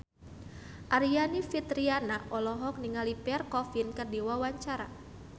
Aryani Fitriana olohok ningali Pierre Coffin keur diwawancara